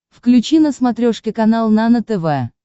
включи на смотрешке канал нано тв